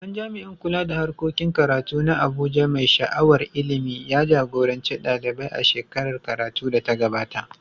Babban jami’in kula da harkokin karatu na Abuja, mai sha’awar ilimi, ya jagoranci ɗalibai a shekarar karatu da ta gabata.